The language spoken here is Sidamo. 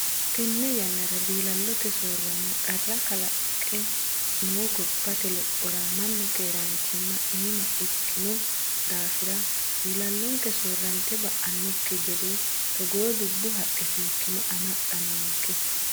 Tene yannara diilalote soorama qarra kalaqe no gobbate lophora mannu keerachima iima ikkino daafira diilalonke soorrante ba"anokki gede togo dubbu haqqe seekkine amaxa noonke.